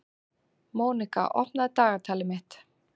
Mónika, opnaðu dagatalið mitt.